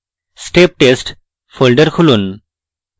step test folder খুলুন